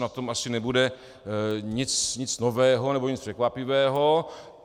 Na tom asi nebude nic nového nebo nic překvapivého.